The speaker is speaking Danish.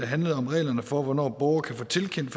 handlede om reglerne for hvornår borgere kan få tilkendt